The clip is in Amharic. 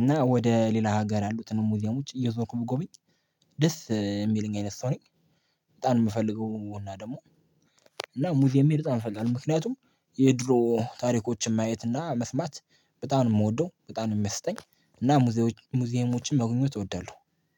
እና ወደሌላ ሀገር ያሉትን ሙዚየሞች እየዞርክ ብጎበኝ ደስ የሚለኝ አይነት ሰው ነኝ። እና በጣም ምፈልገው ቦታ ደሞ እና ሙዚየም መሄድ በጣም አልፈልግም። ምክንያቱም የድሮ ታሪኮችን ማየት እና መስማት በጣም ነው የምወደው። በጣም የሚያስጠኝ እና ሙዚየሞችን መጎብኘት እወዳለሁ